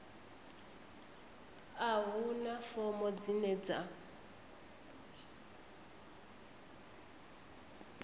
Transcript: a huna fomo dzine dza